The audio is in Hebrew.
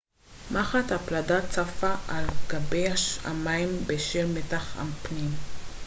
מחט הפלדה צפה על גבי המים בשל מתח הפנים